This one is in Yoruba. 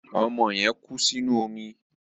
Ọmọ yẹn kú sí inú omi.